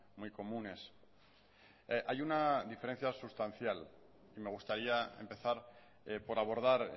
muy comunes hay una diferencia sustancial y me gustaría empezar por abordar